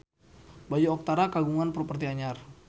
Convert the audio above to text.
Bayu Octara kagungan properti anyar